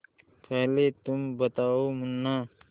पहले तुम बताओ मुन्ना